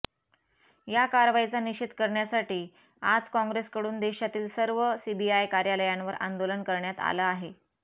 या कारवाईचा निषेध करण्यासाठी आज काँग्रेसकडून देशातील सर्व सीबीआय कार्यालयांवर आंदोलन करण्यात आलं आहे